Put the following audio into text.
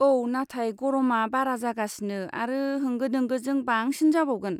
औ, नाथाय गरमआ बारा जागासिनो आरो होंगो दोंगोजों बांसिन जाबावगोन।